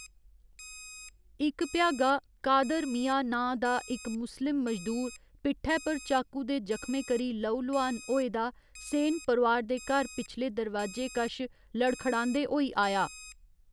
इक भ्यागा, कादर मिया नांऽ दा इक मुस्लिम मजदूर पिट्ठै पर चाकू दे जखमें करी लहु लुहान होए दा सेन परोआर दे घर पिछले दरवाजे कश लड़खड़ांदे होई आया।